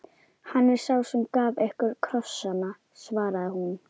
Hann er sá sem gaf ykkur krossana, svaraði hún.